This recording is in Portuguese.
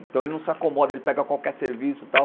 Então ele não se acomoda, ele pega qualquer serviço e tal.